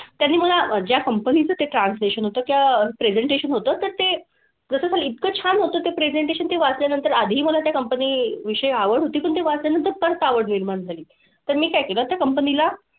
त्यांनी मला ज्या company चं ते translation होतं किंवा presentation होतं तर ते जसं ते इतकं छान होतं ते presentation ते वाचल्यानंतर आधीही मला त्या company विषयी आवड होती, पण ते वाचल्यानंतर परत आवड निर्माण झाली. तर मी काय केलं त्या company ला,